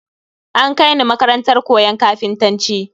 An Kai ni makarantar koyon kafintanci